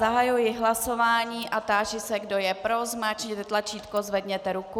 Zahajuji hlasování a táži se, kdo je pro, zmáčkněte tlačítko, zvedněte ruku.